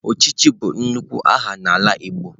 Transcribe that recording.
Ọchịchị bụ nnukwu aha n'ala igbo.